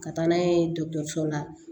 Ka taa n'a ye dɔgɔtɔrɔso la